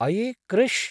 अये कृष्!